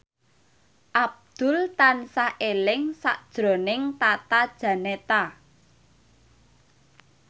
Abdul tansah eling sakjroning Tata Janeta